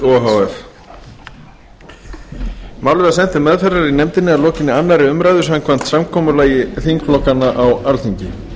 f málið var sent til meðferðar í nefndinni að lokinni annarri umræðu samkvæmt samkomulagi þingflokkanna á alþingi